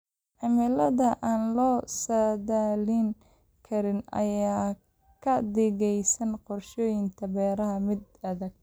Cimilada aan la saadaalin karin ayaa ka dhigaysa qorsheynta beeraha mid adag.